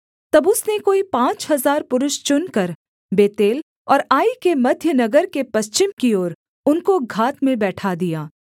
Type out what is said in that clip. तब उसने कोई पाँच हजार पुरुष चुनकर बेतेल और आई के मध्य नगर के पश्चिम की ओर उनको घात में बैठा दिया